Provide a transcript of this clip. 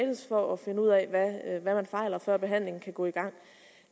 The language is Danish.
for at finde ud af hvad man fejler før behandlingen kan gå i gang